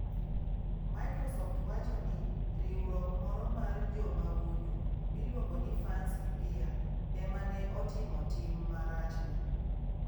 Microsoft wacho ni riwruok moro mar jomahundu miluongo ni 'Fancy Bear' ema ne otimo tim marachno.